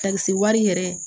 Ka se wari yɛrɛ